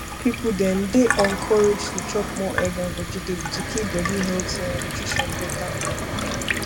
people dem dey encouraged to chop more egg and vegetable to keep body healthy and nutrition better